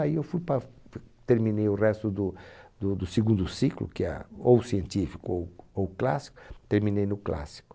Aí eu fui para f, terminei o resto do do segundo ciclo, que é a, ou ou científico ou clássico, terminei no clássico.